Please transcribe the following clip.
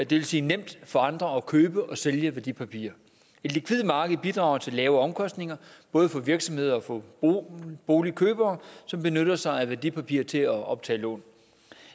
vil sige nemt for andre at købe og sælge værdipapirer et likvidt marked bidrager til lave omkostninger både for virksomheder og for boligkøbere som benytter sig af værdipapirer til at optage lån